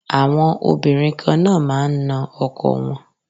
Àwọn Obìnrin kan náà máa ń na ọkọ wọn.